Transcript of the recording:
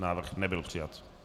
Návrh nebyl přijat.